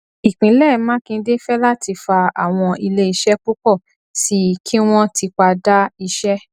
ìpínlẹ makinde fẹláti fa àwọn ilé iṣẹ púpọ sí i kí wọn tipa dá iṣẹ